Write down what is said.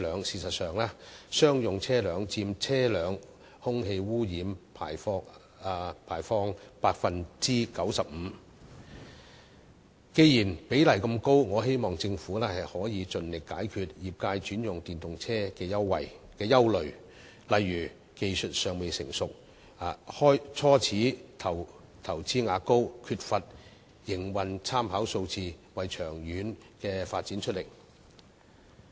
事實上，商用車輛佔車輛空氣污染排放 95%， 既然比例那麼高，我希望政府可以盡力解決業界轉用電動車的憂慮，例如技術尚未成熟、初始投資額高及缺乏營運參考數據，為長遠發展出力。